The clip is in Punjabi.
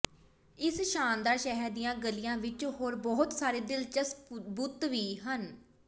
ਇਸ ਸ਼ਾਨਦਾਰ ਸ਼ਹਿਰ ਦੀਆਂ ਗਲੀਆਂ ਵਿਚ ਹੋਰ ਬਹੁਤ ਸਾਰੇ ਦਿਲਚਸਪ ਬੁੱਤ ਵੀ ਹਨ